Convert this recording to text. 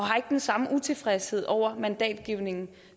den samme utilfredshed over mandatgivningen